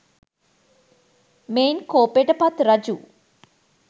මෙයින් කෝපයට පත් රජු